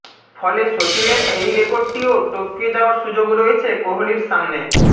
ফলে সচিনের এই রেকর্ডটিও টপকে যাওয়ার সুযোগ রয়েছে কোহলির সামনে